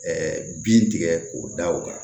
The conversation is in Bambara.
bin tigɛ k'o da o kan